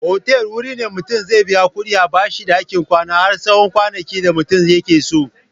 Otal wuri ne da mutum zai biya kuɗi a bashi ɗakin kwana har tsawon kwanakin da mutum yakeso.